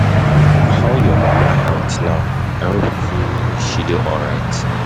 How your mama health now? I hope she say dey alright.